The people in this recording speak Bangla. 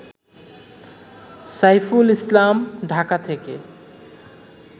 সাইফুল ইসলাম, ঢাকা থেকে